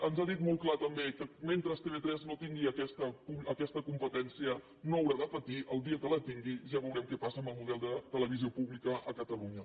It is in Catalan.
ens ha dit molt clar també que mentre tv3 no tingui aquesta competència no haurà de patir el dia que la tingui ja veurem què passa amb el model de te·levisió pública a catalunya